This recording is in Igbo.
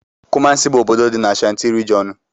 Kumasi bu obodo dị n'Ashantí regionú.